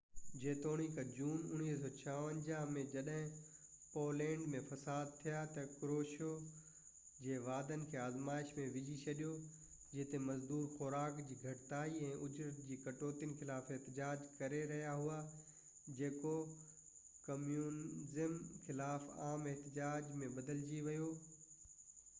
جيتوڻيڪ جون 1956 ۾ جڏهن پولينڊ ۾ فساد ٿيا ته ڪروشيو جي واعدن کي آزمائش ۾ وجهي ڇڏيو جتي مزدور خوراڪ جي گهٽتائي ۽ اُجرت جي ڪٽوتين خلاف احتجاج ڪري رهيا هئا جيڪو ڪميونيزم خلاف عام احتجاج ۾ بدلجي ويو